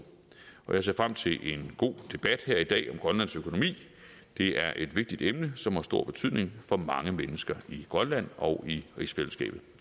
jeg ser frem til en god debat her i dag om grønlands økonomi det er et vigtigt emne som har stor betydning for mange mennesker i grønland og i rigsfællesskabet